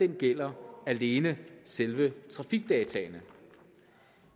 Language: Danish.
gælder alene selve trafikdataene